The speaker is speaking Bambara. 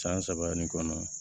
San saba nin kɔnɔ